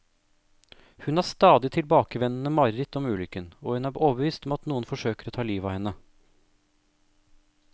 Hun har stadig tilbakevendende mareritt om ulykken, og hun er overbevist om at noen forsøker å ta livet av henne.